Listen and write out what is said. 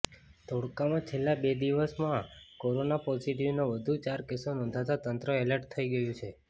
ધોળકામાં છેલ્લા બે દિવસમાં કોરોના પોઝિટિવના વધુ ચાર કેસો નોંધતા તંત્ર એલર્ટ થઈ ગયું છે